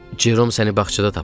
Cerom səni bağçada tapıb.